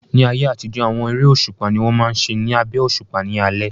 Ní ayé àtijọ́, àwọn eré òṣùpá ni wọ́n máa n ṣe ní abẹ́ òṣùpá ní alẹ́